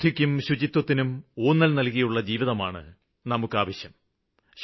ശുദ്ധിക്കും ശുചിത്വത്തിനും ഊന്നല് നല്കിയുള്ള ജീവിതമാണ് നമുക്കാവശ്യം